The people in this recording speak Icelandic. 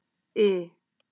I